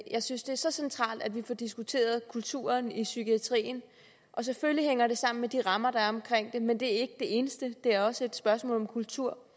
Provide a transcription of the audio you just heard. jeg synes det er så centralt at vi får diskuteret kulturen i psykiatrien selvfølgelig hænger det sammen med de rammer der er omkring det men det er ikke det eneste det er også et spørgsmål om kultur